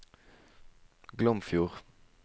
Glomfjord